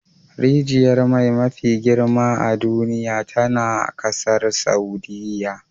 Rijiyar mai mafi girma a duniya tana kasar Saudiyya